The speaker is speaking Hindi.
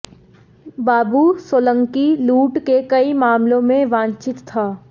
बाबू सोलंकी लूट के कई मामलों में वांछित था